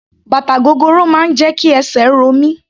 Bàtà gogoro máa ń jẹ́ kí esè ro mí.